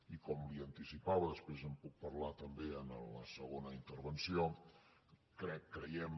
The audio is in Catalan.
i com li anticipava després en puc parlar també a la segona intervenció crec creiem